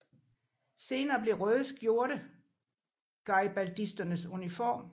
Senere blev røde skjorte garibaldisternes uniform